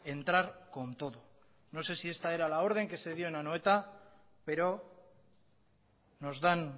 entrar con todo no sé si esta es la orden que se dio en anoeta pero nos dan